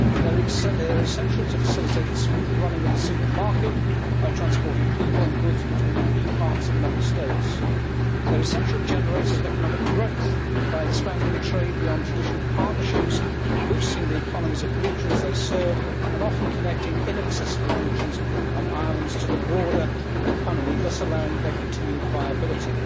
They are essential to facilitating the smooth running of the single market by transporting people and goods between key parts of Member States. They are essential generators of economic growth by expanding trade beyond traditional partnerships, boosting the economies of regions they serve and often connecting inaccessible regions and islands to the broader economy, thus allowing their continued viability.